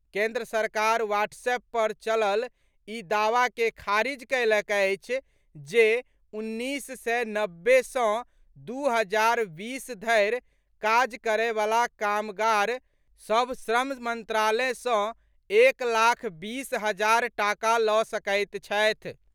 केंद्र सरकार व्हाट्सएप पर चलल ई दावा के खारिज कयलक अछि जे उन्नीस सय नब्बे सँ दू हजार बीस धरि काज करयवला कामगार सभ श्रम मंत्रालय सँ एक लाख बीस हजार टाका लऽ सकैत छथि।